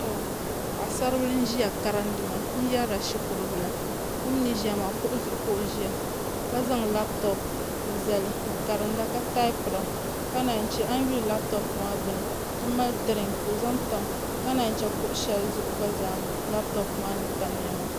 Paɣi saribili n ʒiya karidimaa n yɛrila shikuru bila o mini ʒiya maa kuɣu zuɣu kooʒiya ka zaŋ laapitop n zali karida ka taapira ka naa chɛ ayi yuli laapitop maa gbuni ti mali diriŋ ka o zan ka naa che kuɣu shɛli zuɣu gba zaa laapitop maa ni tamya maa